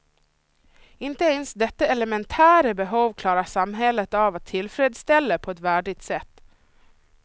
Inte ens detta elementära behov klarar samhället av att tillfredställa på ett värdigt sätt.